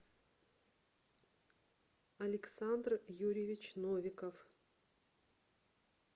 александр юрьевич новиков